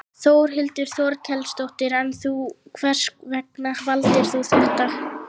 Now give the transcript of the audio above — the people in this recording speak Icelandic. Þórhildur Þorkelsdóttir: En þú, hvers vegna valdir þú þetta?